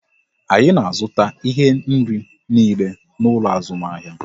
Anyị na azụta ihe nri niile n'ụlọ azụmahịa